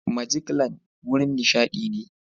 Majiklan wurin nishaɗi ne.